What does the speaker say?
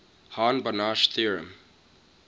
hahn banach theorem